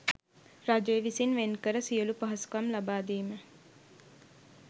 රජය විසින් වෙන් කර සියලු පහසුකම් ලබා දීම